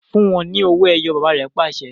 Fun u wọn ni òwò-ẹyọ̀! baba re pase